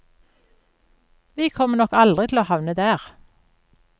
Vi kommer nok aldri til å havne der.